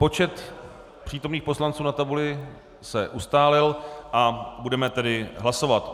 Počet přítomných poslanců na tabuli se ustálil a budeme tedy hlasovat.